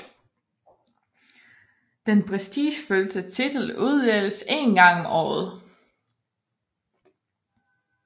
Den prestigefyldte titel uddeles én gang om året